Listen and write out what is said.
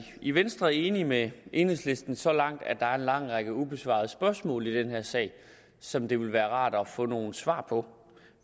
i venstre enige med enhedslisten så langt at der er en lang række ubesvarede spørgsmål i den her sag som det ville være rart at få nogle svar på